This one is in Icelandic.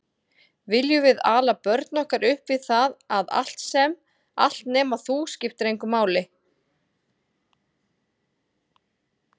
Viljum við ala börn okkar upp við það að allt nema þú, skiptir engu máli?